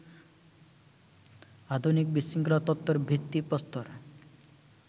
আধুনিক বিশৃঙ্খলা তত্ত্বর ভিত্তিপ্রস্তর